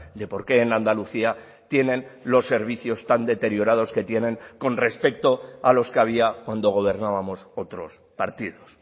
de porqué en andalucía tienen los servicios tan deteriorados que tienen con respecto a los que había cuando gobernábamos otros partidos